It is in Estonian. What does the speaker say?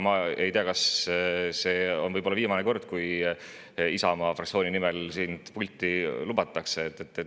Ma ei tea, kas see on viimane kord, kui sind Isamaa fraktsiooni nimel pulti lubatakse.